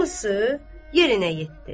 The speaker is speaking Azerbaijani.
hamısı yerinə yetdi.